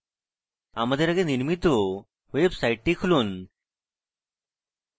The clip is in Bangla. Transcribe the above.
আমাদের আগে নির্মিত ওয়েবসাইটটি খুলুন